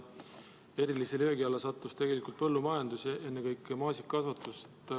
Erilise löögi alla sattus põllumajandus, ennekõike maasikakasvatus.